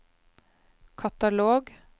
katalog